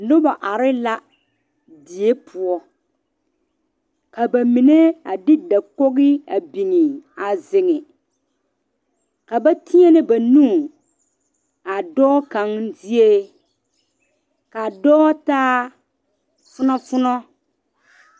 Noba are die poɔ ka ba mine a de dakogo beŋa a zeŋe ka ba tenɛ ba nu a dɔɔ kaŋa zieŋ kaa dɔɔ ta funofuno.